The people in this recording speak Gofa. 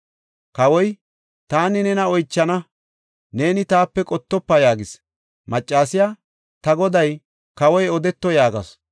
Kawoy, “Taani nena oychana; neeni taape qottofa” yaagis. Maccasiya, “Ta goday, kawoy odeto” yaagasu.